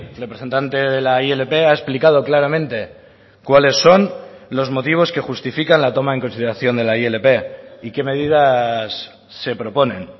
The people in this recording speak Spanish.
representante de la ilp ha explicado claramente cuáles son los motivos que justifican la toma en consideración de la ilp y qué medidas se proponen